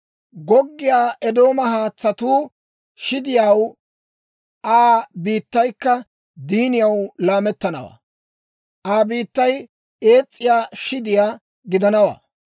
Goggiyaa Eedooma haatsatuu shidiyaw, Aa biittaykka diiniyaw laamettanawaa; Aa biittay ees's'iyaa shidiyaa gidanawaa.